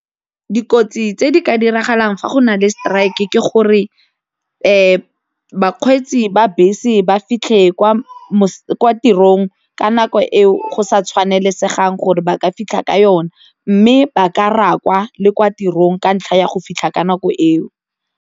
Dikotsi tse di ka diragalang fa go na le strike ke gore bakgweetsi ba bese ba fitlhe kwa tirong ka nako eo go sa tshwanelesegang gore ba ka fitlha ka yone mme ba ka rakwa le kwa tirong ka ntlha ya go fitlha ka nako eo.